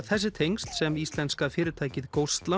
þessi tengsl sem íslenska fyrirtækið